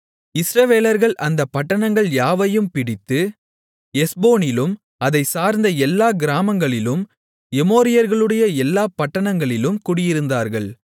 இஸ்ரவேலர்கள் அந்தப் பட்டணங்கள் யாவையும் பிடித்து எஸ்போனிலும் அதைச் சார்ந்த எல்லாக் கிராமங்களிலும் எமோரியர்களுடைய எல்லாப் பட்டணங்களிலும் குடியிருந்தார்கள்